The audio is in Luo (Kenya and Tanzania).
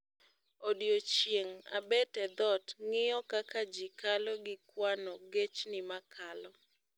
Odiechieng' abet e dhot ng'iyo kaka ji kalo gi kwano gechni makalo